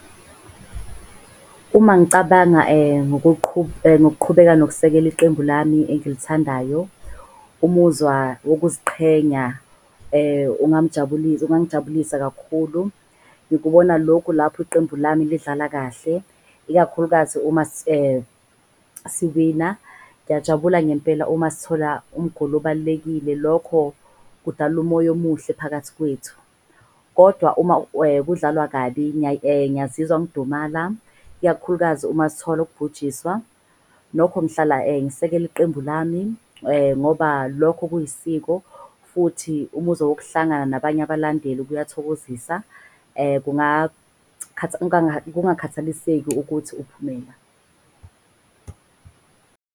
Uma ngicabanga ngokuqhubeka nokusekela iqembu lami engilithandayo, umuzwa wokuziqhenya ungangijabulisa kakhulu. Ngikubona lokhu lapho iqembu lami lidlala kahle, ikakhulukazi uma siwina. Ngiyajabula ngempela uma sithola obalulekile lokho kudala umoya omuhle phakathi kwethu. Kodwa uma kudlalwa kabi ngingazizwa ngidumala ikakhulukazi uma sithola ukubhujisiwa. Nokho ngihlala ngisekela iqembu lami ngoba lokho kuyisiko. Futhi umuzwa wokuhlangana nabanye abalandeli kuyathokozisa, kungakhathaliseki ukuthi uphume ba.